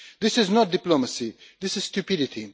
This is not diplomacy, this is stupidity.